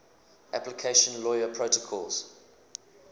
application layer protocols